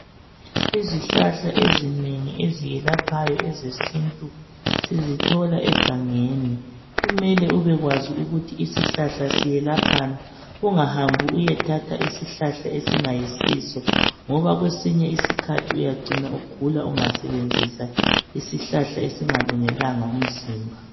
Izihlahla ezinengi eziyelaphayo, ezesintu sizithola egangeni. Kumele ubekwazi ukuthi isihlahla siyelaphani ungahambi uyethatha isihlahla esingayisisi ngoba kwesinye isikhathi uyacina ugula. ungasebenzisa isihlahla esingalungelanga umzimba.